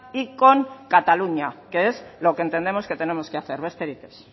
y con cataluña que es lo que entendemos que tenemos que hacer besterik ez